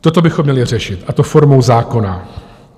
Toto bychom měli řešit, a to formou zákona.